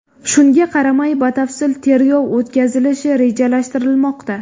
Shunga qaramay batafsil tergov o‘tkazilishi rejalashtirilmoqda.